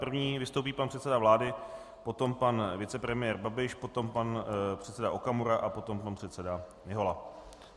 První vystoupí pan předseda vlády, potom pan vicepremiér Babiš, potom pan předseda Okamura a potom pan předseda Mihola.